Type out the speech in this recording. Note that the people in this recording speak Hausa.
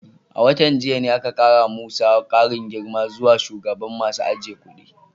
A watan jiya ne aka kara wa Musa karin girma zuwa shugaban masu ajiye kudi.